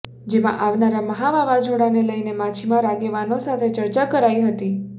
જેમાં આવનારા મહા વાવાઝોડાને લઇને માછીમાર આગેવાનો સાથે ચર્ચા કરાઇ હતી